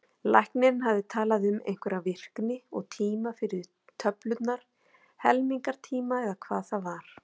Læknirinn hafði talað um einhverja virkni og tíma fyrir töflurnar, helmingunartíma, eða hvað það var.